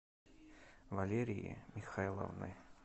валерии михайловны